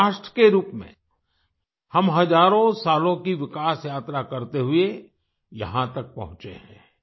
एक राष्ट्र के रूप में हम हजारों सालों की विकास यात्रा करते हुआ यहाँ तक पहुँचे हैं